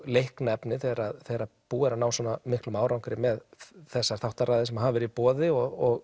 leiknu efni þegar þegar búið er að ná svo góðum árangri með þessar þáttaraðir sem hafa verið í boði og